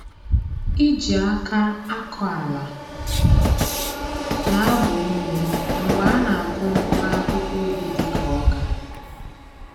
Iji aka akọ ala na-agba ume mgbe a na-akụ mkpụrụ akụkụ ubi dịka ọka